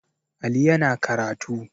Ali yana karatu